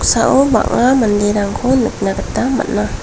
noksao bang·a manderangko nikna gita man·a.